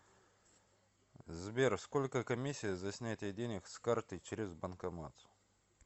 сбер сколько комиссия за снятие денег с карты через банкомат